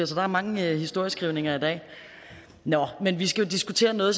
så der er mange historieskrivninger i dag nå men vi skal jo diskutere noget